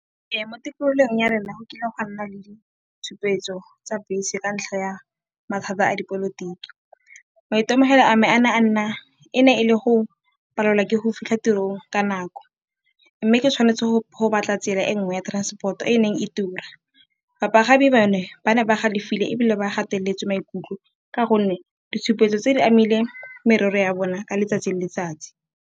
Ee, mo tikologong ya rena go kile gwa nna le ditshupetso tsa bese ka ntlha ya mathata a dipolotiki. Maitemegelo a me e ne e le go palelwa ke go fitlha tirong ka nako mme ke tshwanetse go batla tsela e nngwe ya transport-o e neng e tura. Bapagami ba ne ba galefile ebile ba gateletswe maikutlo ka gonne ditshupetso tse di amile merero ya bona ka letsatsi le letsatsi.